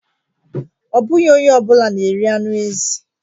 Ọ bụghị onye ọ bụla na-eri anụ ezi